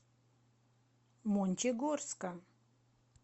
мончегорска